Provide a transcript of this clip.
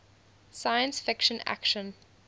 science fiction action